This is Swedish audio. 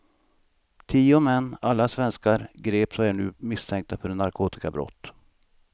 Tio män, alla svenskar, greps och är nu misstänkta för narkotikabrott.